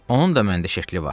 Onun da məndə şəkli var.